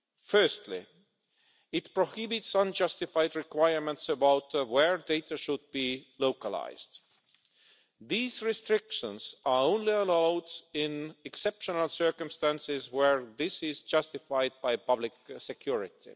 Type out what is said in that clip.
Firstly, it prohibits unjustified requirements about where data should be localised. These restrictions are only allowed in exceptional circumstances where this is justified by public security.